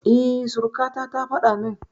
E, surukata ta faɗa min.